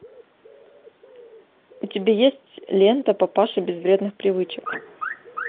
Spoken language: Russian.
у тебя есть лента папаша без вредных привычек